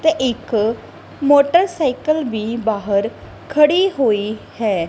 ਤੇ ਇੱਕ ਮੋਟਰਸਾਈਕਲ ਵੀ ਬਾਹਰ ਖੜੀ ਹੋਈ ਹੈ।